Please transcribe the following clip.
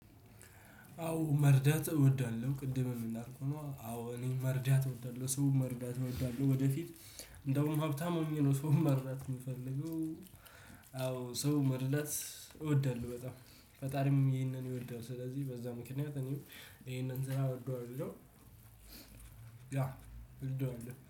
አዎ መርዳት እወዳለሁ ቅድምም እንዳልኩህ ነው አዎ እኔ መርዳት እወዳለሁ ሰው መርዳት እወዳለሁ ወደፊት እንደውም ሀብታም ሆኘ ነው ሰው መርዳት የምፈልገው። አዎ ሰው መርዳት እወዳለሁ በጣም ፈጣሪም ይሄንን ይወዳል ስለዚህ በዛ ምክንያት እኔም ይሄንን ስራ እወደዋለሁ። ያው እወደዋለሁ